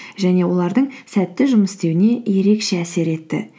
және олардың сәтті жұмыс істеуіне ерекше әсер етті